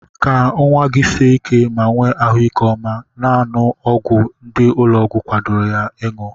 Ka nwa gị sie ike ma nwee ahụike ọma, na-aṅụ ọgwụ ndị ụlọọgwụ kwadoro ka ị ṅụọ.